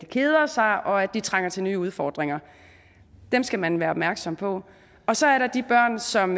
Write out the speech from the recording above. keder sig og at de trænger til nye udfordringer dem skal man være opmærksom på og så er der de børn som